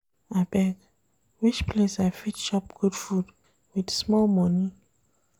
Abeg, which place I fit chop good food with small money?